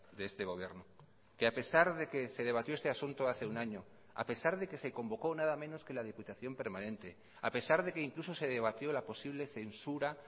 de este gobierno que a pesar de que se debatió este asunto hace un año a pesar de que se convocó nada menos que la diputación permanente a pesar de que incluso se debatió la posible censura